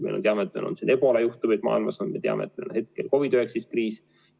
Me teame, et on ebola juhtumeid maailmas, me teame, et hetkel on COVID‑19 kriis.